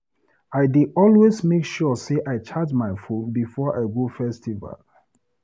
I dey always make sure sey I charge my phone before I go festival.